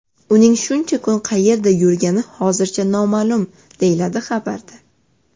Uning shuncha kun qayerda yurgani hozircha noma’lum”, deyiladi xabarda.